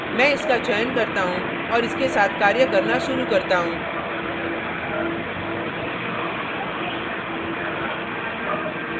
मैं इसका चयन करता हूँ और इसके साथ कार्य करना शुरू करता हूँ